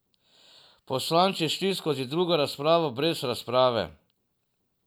Poslanci šli skozi drugo razpravo brez razprave.